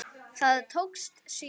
Það tókst síður.